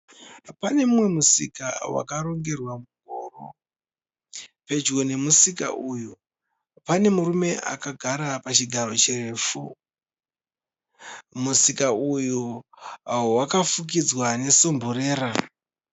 Pane mumwe musika , wakarongerwa mungoro. Pedyo nemusika uyu pane murume akagara pachigaro chirefu. Musika uyu waka fukidzwa nesumburera.